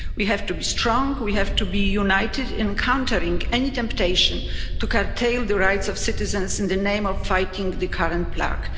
We have to be strong, we have to be united in countering any temptation to curtail the rights of citizens in the name of fighting the current plague.